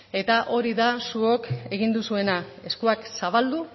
eta hori da zuok egin duzuena eskuak zabaldu